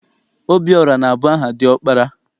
Obiọra na- abụ aha diọkpara.